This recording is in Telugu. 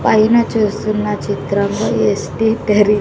పైన చూస్తున్న చిత్రంలో ఎస్ టి టరి.